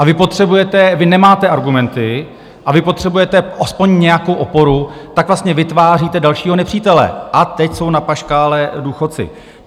A vy potřebujete, vy nemáte argumenty a vy potřebujete aspoň nějakou oporu, tak vlastně vytváříte dalšího nepřítele, a teď jsou na paškále důchodci.